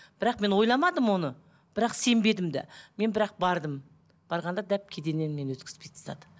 бірақ мен ойламадым оны бірақ сенбедім де мен бірақ бардым барғанда дәп кеденнен мені өткізбей тастады